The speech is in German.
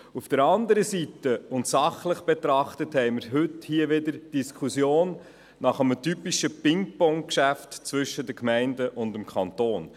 Auf der anderen Seite, und sachlich betrachtet, haben wir heute hier wieder eine Diskussion über ein typisches Pingpong-Geschäft zwischen den Gemeinden und dem Kanton.